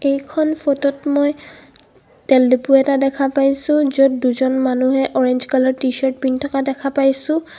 এইখন ফটো ত মই তেল দিপু এটা দেখা পাইছোঁ য'ত দুজন মানুহে অৰেঞ্জ কালাৰ টিচাৰ্ত পিন্ধী থকা দেখা পাইছোঁ.